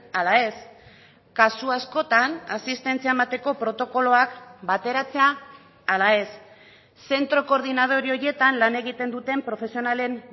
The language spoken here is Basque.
ala ez kasu askotan asistentzia emateko protokoloak bateratzea ala ez zentro koordinadore horietan lan egiten duten profesionalen